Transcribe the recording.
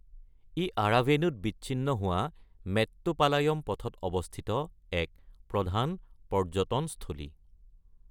ই আৰাভেনুত বিচ্ছিন্ন হোৱা মেট্টুপালায়ম পথত অৱস্থিত এক প্ৰধান পৰ্যটনস্থলী।